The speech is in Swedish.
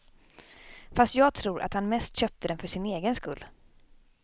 Fast jag tror att han mest köpte den för sin egen skull.